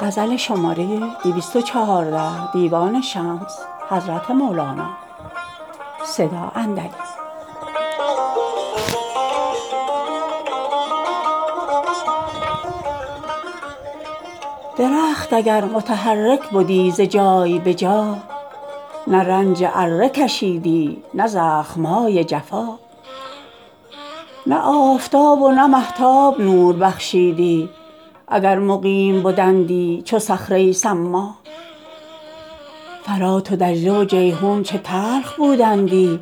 درخت اگر متحرک بدی ز جای به جا نه رنج اره کشیدی نه زخم های جفا نه آفتاب و نه مهتاب نور بخشیدی اگر مقیم بدندی چو صخره صما فرات و دجله و جیحون چه تلخ بودندی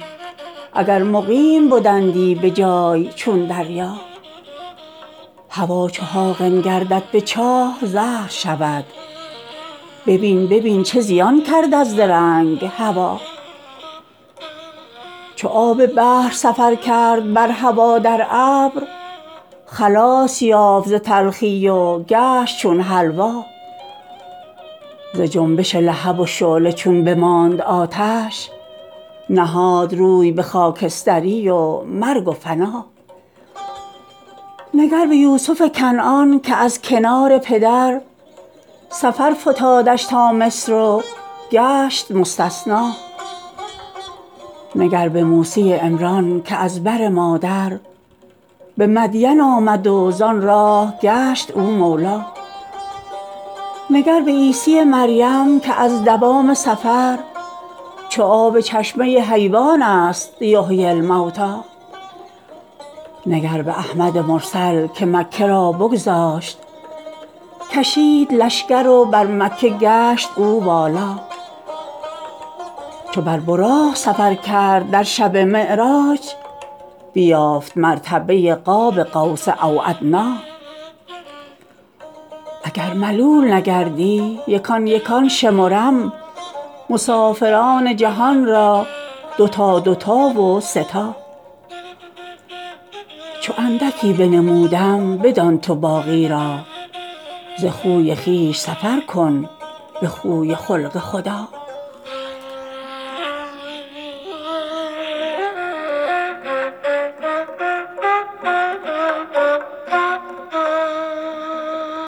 اگر مقیم بدندی به جای چون دریا هوا چو حاقن گردد به چاه زهر شود ببین ببین چه زیان کرد از درنگ هوا چو آب بحر سفر کرد بر هوا در ابر خلاص یافت ز تلخی و گشت چون حلوا ز جنبش لهب و شعله چون بماند آتش نهاد روی به خاکستری و مرگ و فنا نگر به یوسف کنعان که از کنار پدر سفر فتادش تا مصر و گشت مستثنا نگر به موسی عمران که از بر مادر به مدین آمد و زان راه گشت او مولا نگر به عیسی مریم که از دوام سفر چو آب چشمه حیوان ست یحیی الموتی نگر به احمد مرسل که مکه را بگذاشت کشید لشکر و بر مکه گشت او والا چو بر براق سفر کرد در شب معراج بیافت مرتبه قاب قوس او ادنی اگر ملول نگردی یکان یکان شمرم مسافران جهان را دو تا دو تا و سه تا چو اندکی بنمودم بدان تو باقی را ز خوی خویش سفر کن به خوی و خلق خدا